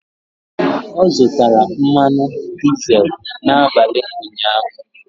Ọ zụtara mmanụ dizel n'abalị ụnyaahụ.